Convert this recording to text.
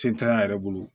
Cɛn tɛ an yɛrɛ bolo